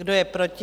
Kdo je proti?